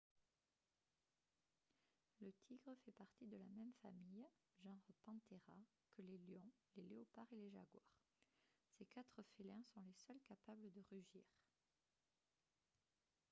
le tigre fait partie de la même famille genre panthera que les lions les léopards et les jaguars. ces quatre félins sont les seuls capables de rugir